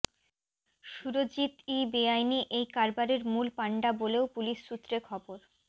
সুরজিৎই বেআইনি এই কারবারের মূল পান্ডা বলেও পুলিশ সূত্রে খবর